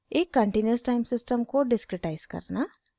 * एक continuous time system को discretize करना